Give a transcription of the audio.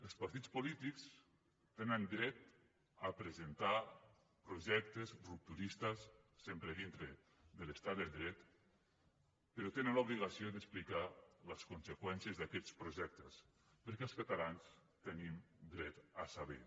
els partits polítics tenen dret a presentar projectes rupturistes sempre dintre de l’estat de dret però tenen l’obligació d’explicar les conseqüències d’aquests projectes perquè els catalans tenim dret a saber